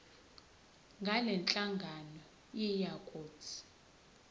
ngalenhlangano yiya kut